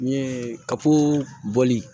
N ye kafoli